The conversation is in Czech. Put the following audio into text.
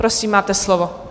Prosím, máte slovo.